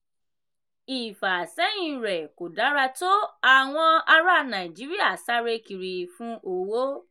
ìfàsẹ́yìn rẹ̀ kò dára tó àwọn ará nàìjíríà sáré kiri fun owó.